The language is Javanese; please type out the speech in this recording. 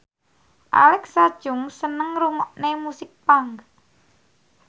Alexa Chung seneng ngrungokne musik punk